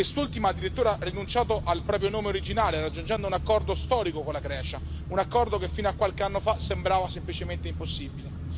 Quest'ultima ha addirittura rinunciato al proprio nome originale, raggiungendo un accordo storico con la Grecia, un accordo che fino a qualche anno fa sembrava semplicemente impossibile.